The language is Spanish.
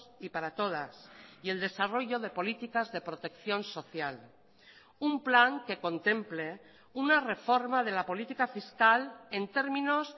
y para todas y el desarrollo de políticas de protección social un plan que contemple una reforma de la política fiscal en términos